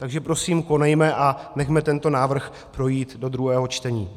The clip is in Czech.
Takže prosím, konejme a nechme tento návrh projít do druhého čtení.